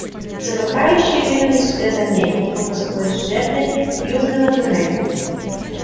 замыкающие двинулись вслед за ней и группа скрылась в жерле южного туннеля